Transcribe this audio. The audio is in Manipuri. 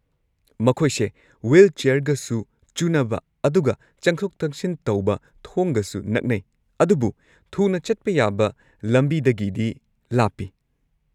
ꯃꯈꯣꯏꯁꯦ ꯋ꯭ꯍꯤꯜꯆꯦꯌꯔꯒꯁꯨ ꯆꯨꯅꯕ ꯑꯗꯨꯒ ꯆꯪꯊꯣꯛ-ꯆꯪꯁꯤꯟ ꯇꯧꯕ ꯊꯣꯡꯒꯁꯨ ꯅꯛꯅꯩ, ꯑꯗꯨꯕꯨ ꯊꯨꯅ ꯆꯠꯄ ꯌꯥꯕ ꯂꯝꯕꯤꯗꯒꯤꯗꯤ ꯂꯥꯞꯄꯤ꯫